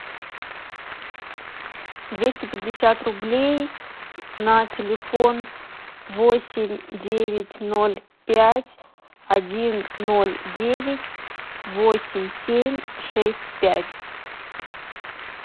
двести пятьдесят рублей на телефон восемь девять ноль пять один ноль девять восемь семь шесть пять